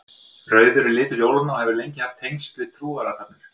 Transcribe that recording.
Rauður er litur jólanna og hefur lengi haft tengsl við trúarathafnir.